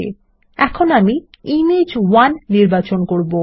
সুতরাং আমি ইমেজ1 নির্বাচন করব